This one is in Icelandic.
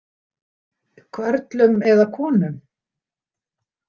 Körlum eða konum?